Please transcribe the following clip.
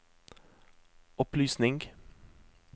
opplysning